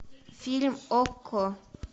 фильм окко